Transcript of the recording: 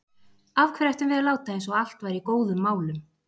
Af hverju ættum við að láta eins og allt væri í góðum málum?